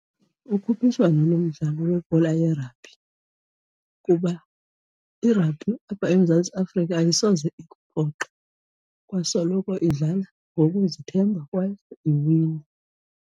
Ukhuphiswano lomdlalo webhola ye-rugby kuba i-rugby apha eMzantsi Afrika ayisoze ikuphoxe, kwasoloko idlala ngokuzithemba kwaye iwina.